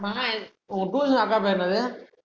ஆமா உன் tuition அக்கா பேரு என்னது